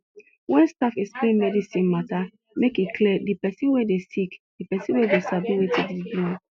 wen staff explain medicine mata make e clear de pesin wey dey sick de pesin go sabi wetin de do am